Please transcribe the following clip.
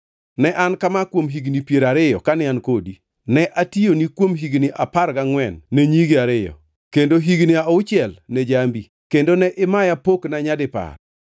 Ne en kama kuom higni piero ariyo kane an e odi. Ne atiyoni kuom higni apar gangʼwen ne nyigi ariyo, kendo higni auchiel ne jambi, kendo ne imaya pokna nyadipar.